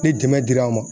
Ni dɛmɛ dira aw ma